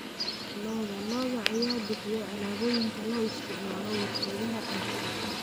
Lo'da lo'da ayaa bixiya alaabooyinka loo isticmaalo warshadaha cuntada.